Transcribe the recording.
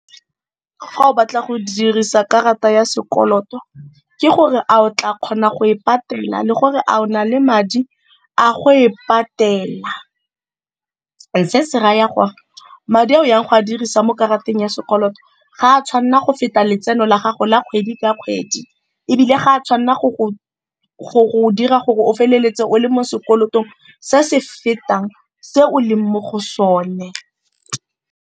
Fa o batla go dirisa karata ya sekoloto ke gore a o tla kgona go e patela le gore a o na le madi a go e patela. Se se raya gore, madi a o yang go a dirisa mo karateng ya sekoloto ga a tshwanela go feta letseno la gago la kgwedi ka kgwedi, ebile ga a tshwanela go go dira gore o feleletse o le mo sekolotong se se fetang se o leng mo go sone.